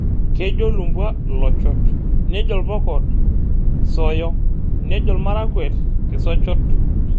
Kejo lumbwa Iochot, nejo ilpokoot ksoyo nejo ilmarakwet kisochot.